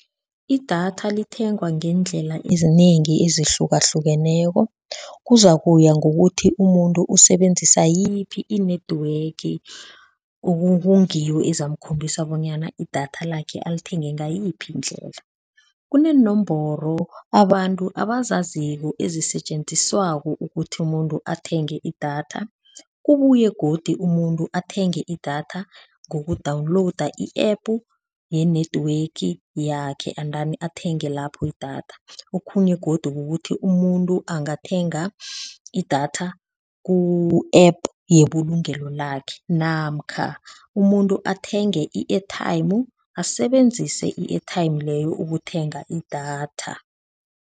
Idatha lithengwa ngeendlela ezinengi ezihlukahlukeneko, kuza kuya ngokuthi umuntu usebenzisa yiphi i-network okungiyo ezamkhombisa bonyana idatha lakhe alithenge ngayiphi indlela. Kuneenomboro abantu abazaziko ezisetjenziswako ukuthi umuntu athenge idatha kubuye godi umuntu athenge idatha ngoku-download i-app ye-network yakhe endani athenge lapho idatha, okhunye godu kukuthi umuntu angathenga idatha ku-app yebulungelo lakhe namkha umuntu athenge i-airtime asebenzise i-airtime leyo ukuthenga idatha.